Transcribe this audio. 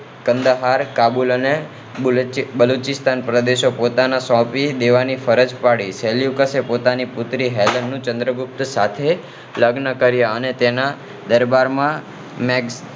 કાંડા હાલ અને કાબુલ અને બલુ બલુચિસ્તાન પ્રદેશો પોતાને સોંપી દેવાની ફરજ પડી સેલ્યુકસે પોતાની પુત્રી નું ચંદ્રગુપ્ત મૌર્ય સાથે લગન કર્યા અને તેના દરબારમાં મેગ